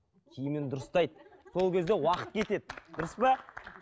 киімін дұрыстайды сол кезде уақыт кетеді дұрыс па